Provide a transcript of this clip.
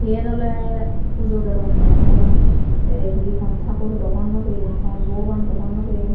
yen awle pujo dedonne parapang te ibe hon tagur daw honnopem hon bogoban daw honnopem.